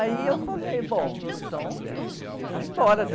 Aí eu falei, bom, então deixa eu ir embora